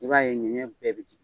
I b'a ye ɲɛnɲɛn bɛɛ bi tunun.